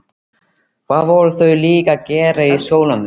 Hvað voru þau líka að gera í stólnum?